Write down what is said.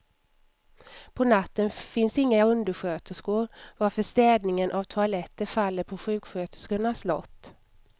På natten finns inga undersköterskor, varför städningen av toaletter faller på sjuksköterskornas lott.